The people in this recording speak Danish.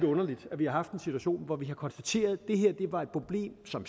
underligt at vi har haft en situation hvor vi har konstateret at det her var et problem som